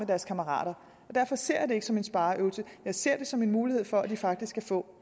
deres kammerater og derfor ser jeg det ikke som en spareøvelse jeg ser det som en mulighed for at de faktisk kan få